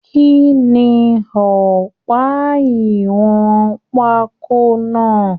Kínní ọpa ìwọn pákó náà?